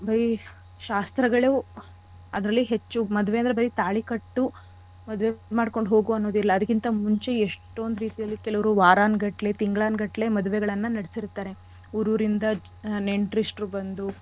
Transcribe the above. ಬರೀ ಶಾಸ್ತ್ರಗಳು ಅದ್ರಲ್ಲಿ ಹೆಚ್ಚು. ಮದ್ವೆ ಅಂದ್ರೆ ಬರೀ ತಾಳಿ ಕಟ್ಟು ಮದ್ವೆ ಮಾಡ್ಕೊಂಡ್ ಹೋಗು ಅನ್ನೋದಿಲ್ಲ ಅದಕ್ಕಿಂತ ಮುಂಚೆ ಎಷ್ಟೊಂದ್ ರೀತಿಯಲ್ಲಿ ಕೆಲವ್ರು ವಾರಾನ್ಗಟ್ಲೆ ತಿಂಗ್ಳಾನ್ಗಟ್ಲೆ ಮದ್ವೆಗಳನ್ನ ನಡ್ಸಿರ್ತಾರೆ. ಊರೂರಿಂದಾ ನೆಂಟ್ರಿಷ್ಟ್ರು ಬಂದು.